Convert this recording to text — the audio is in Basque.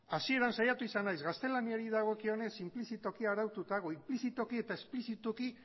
hasieran saiatu gaztelaniari dagokionez inplizituki eta esplizituki